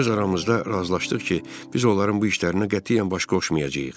Öz aramızda razılaşdıq ki, biz onların bu işlərinə qətiyyən baş qoşmayacağıq.